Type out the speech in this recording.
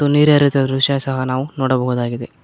ನೀರೆ ಹರಿಯುತ್ತಿರುವ ದೃಶ್ಯ ಸಹ ನಾವು ನೋಡಬಹುದಾಗಿದೆ.